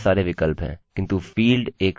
अतः पहला id होने जा रहा है